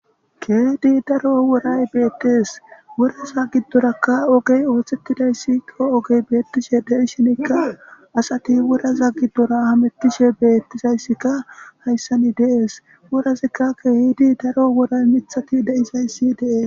Kehi daaro worray bettes woraza giddoraka oggey oththetidaysi oggey bettishe deishinikka asati woraza giidora hamettishe bettizayssika hayssan de'es worazikka kehidi daaro worray miththati deizayssi de'es.